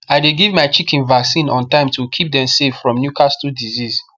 i dey give my chicken vaccine on time to keep dem safe from newcastle disease